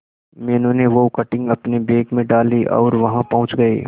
मीनू ने वो कटिंग अपने बैग में डाली और वहां पहुंच गए